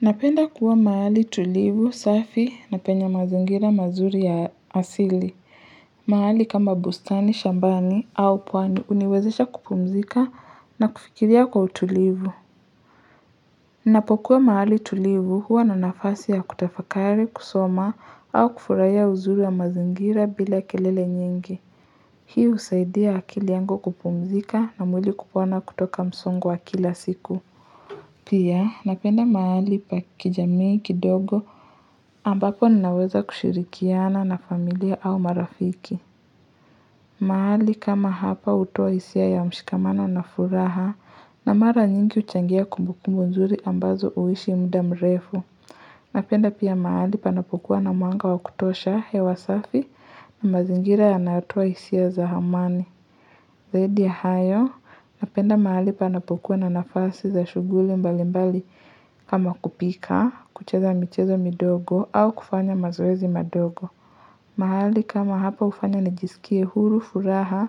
Napenda kuwa mahali tulivu safi na penye mazingira mazuri ya asili. Mahali kama bustani, shambani au pwani uniwezesha kupumzika na kufikiria kwa utulivu. Napokuwa mahali tulivu huwa na nafasi ya kutafakari, kusoma au kufurahia uzuri ya mazingira bila kelele nyingi. Hii usaidia akili yangu kupumzika na mwili kupona kutoka msongo wa kila siku. Pia napenda mahali paki jamii kidogo ambapo ninaweza kushirikiana na familia au marafiki. Mahali kama hapa hutoa hisia ya mshikamana na furaha na mara nyingi huchangia kumbuku mzuri ambazo uishi muda mrefu. Napenda pia mahali panapukuwa na mwanga wa kutosha hewasafi na mazingira ya natoa hisia za amani. Zaidi ya hayo, napenda mahali pa napokuwa na nafasi za shughuli mbali mbali kama kupika, kucheza michezo midogo au kufanya mazoezi madogo. Mahali kama hapa ufanya nijisikie huru fu raha